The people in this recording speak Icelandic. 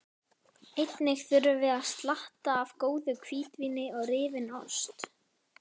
Einnig þurfum við slatta af góðu hvítvíni og rifinn ost.